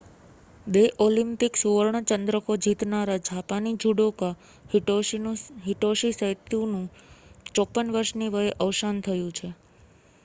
બે ઓલિમ્પિક સુવર્ણ ચંદ્રકો જીતનારા જાપાની જુડોકા હિટોશી સૈતોનું 54 વર્ષની વયે અવસાન થયું છે